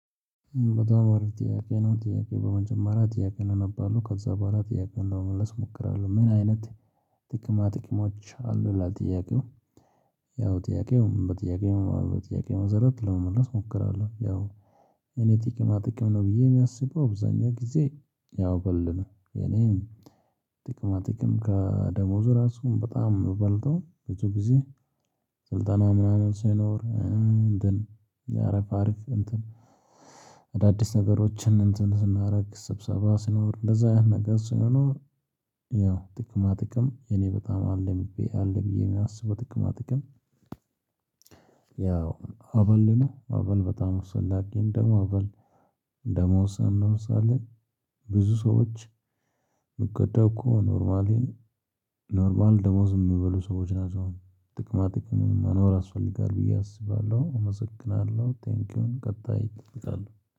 በጣም አሪፍ ጥያቄ ነው ጥያቄ? በመጀመሪያ ጥያቄውን አነባለሁ ከዛ በኋላ ጥያቄውን ለመመለስ እሞክራለሁ ምን አይነት ጥቅማ ጥቅሞች አሉ ይላል ጥያቄው? ያው ጥያቄውም በጥያቄውም በጥያቄውም መሰረት ለመመለስ እሞክራለሁ ያው የኔ ጥቅማ ጥቅም ነው ብዬ የማያስበው አብዛኛው ጊዜ ያው አበል ነው። የኔም ጥቅማ ጥቅም ከደሞዙ ራሱ በጣም በልጦ ብዙ ጊዜ። ስልጠና ምናምን ሳይኖር እንትን የአሪፍ አሪፍ እንትን አዳዲስ ነገሮችን እንትን ስናረግ ስብሰባ ሲኖር እንደዛ አይነት ነገር ሲኖር። ያው ጥቅማ ጥቅም እኔ በጣም አለኝ ብዬ አለ ብዬ የማስበው ጥቅማ ጥቅም። ያው አበል ነው። አበል በጣም አስፈላጊ ደሞ አበል እንደመወሰን ነው ሳለ። ብዙ ሰዎች ቢቀዳ እኮ ኖርማሊ ኖርማል ደሞዝ የሚበሉ ሰዎች ናቸው። ጥቅማ ጥቅሙን መኖር ያስፈልጋለሁ ብዬ አስባለሁ አመሰግናለሁ። ቴንኪውን ቀጣይ እልቃለሁ